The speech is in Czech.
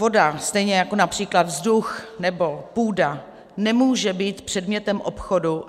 Voda, stejně jako například vzduch nebo půda, nemůže být předmětem obchodu.